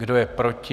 Kdo je proti?